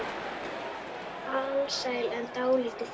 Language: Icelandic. Alsæl en dálítið þreytt.